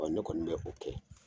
Ɔ ne kɔni bɛ o kɛ